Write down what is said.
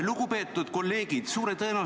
Lugupeetud kolleegid!